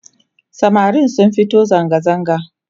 samarin sun fito zangazaga